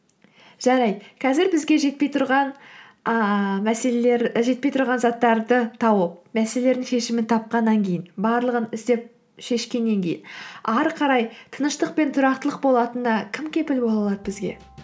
жарайды қазір бізге жетпей тұрған заттарды тауып мәселелердің шешімін тапқаннан кейін барлығын істеп шешкеннен кейін ары қарай тыныштық пен тұрақтылық болатынына кім кепіл бола алады бізге